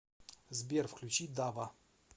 сбер включи дава